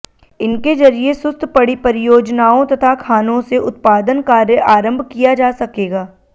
इनके जरिये सुस्त पड़ी परियोजनाओं तथा खानों से उत्पादन कार्य आरंभ किया जा सकेगा